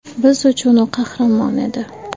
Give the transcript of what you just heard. Biz uchun u qahramon edi.